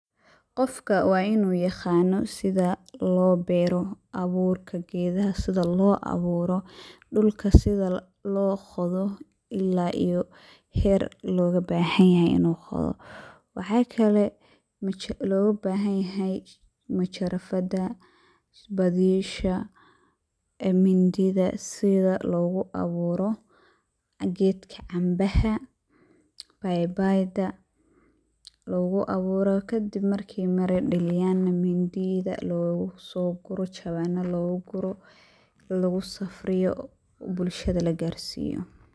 Qofka waa inuu yaqaano sida loo beero, abuurka gedaha sida loo awuuro, dhulka sida loo qodo ilaa iyo heer loga bahan yahay inuu qodo. Waxaa kale loga bahan yahay majarafada, badiisha, mindida sida logu awuuro gedka canbaha, baybayda logu awuuro, kadib markii mira dhaliyaan na mindida logu soo guro jawaano, jawaanna lagu guro, lagu safriyo, bulshada la garsiiyo.